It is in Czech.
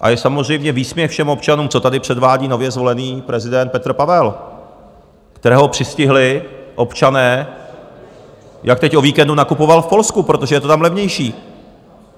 A je samozřejmě výsměch všem občanům, co tady předvádí nově zvolený prezident Petr Pavel, kterého přistihli občané, jak teď o víkendu nakupoval v Polsku, protože je to tam levnější.